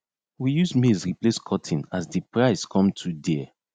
we use maize replace cotton as de price come too dare